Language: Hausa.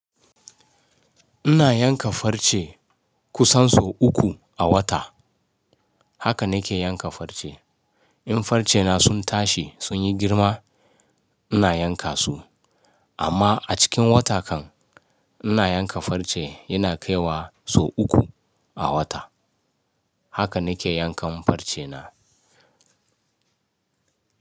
Ina yanka farce kusan sau uku a wata. Haka na ke yanka farce. In farce na sun tashi sun yi girma ina yanka su. Amma a cikin wata kan ina yanka farce yana kaiwa sau uku a wata. Haka na ke yankan farce na.